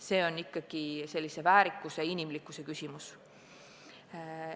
See on väärikuse ja inimlikkuse küsimus.